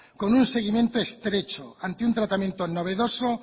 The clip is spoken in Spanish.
con un seguimiento estrecho ante un tratamiento novedoso